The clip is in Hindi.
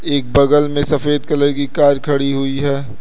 एक बगल में सफेद कलर की कार खड़ी हुई है।